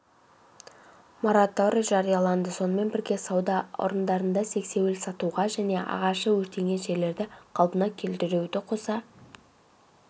мораторий жарияланды сонымен бірге сауда орындарында сексеуіл сатуға және ағашы өртенген жерлерді қалпына келтіруді қоса